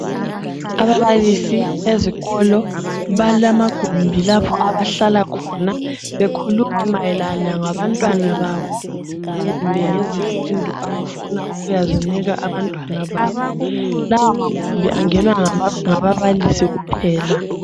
Ababalisi bezikolo balamagumbi lapha abahlala khona bekhuluma mayelana ngabantwana babo kumbe ngezifundo abafuna ukuyazinika abantwana babo. Lawo magumbi angenwa ngababalisi kuphela.